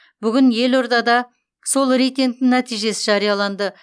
бүгін елордада сол рейтингтің нәтижесі жарияланды